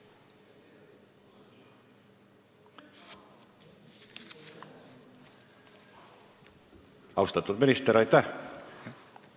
Austatud minister, aitäh!